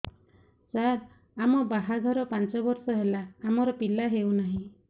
ସାର ଆମ ବାହା ଘର ପାଞ୍ଚ ବର୍ଷ ହେଲା ଆମର ପିଲା ହେଉନାହିଁ